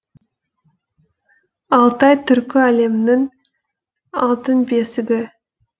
алтай түркі әлемінің алтын бесігі